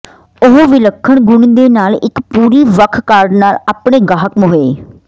ਉਹ ਵਿਲੱਖਣ ਗੁਣ ਦੇ ਨਾਲ ਇੱਕ ਪੂਰੀ ਵੱਖ ਕਾਰਡ ਨਾਲ ਆਪਣੇ ਗਾਹਕ ਮੁਹੱਈਆ